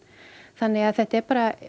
þannig að þetta er bara